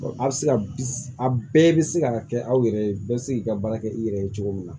A bɛ se ka bi a bɛɛ bɛ se ka kɛ aw yɛrɛ ye bɛɛ bɛ se k'i ka baara kɛ i yɛrɛ ye cogo min na